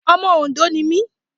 Ọmọ Òndó ni mí.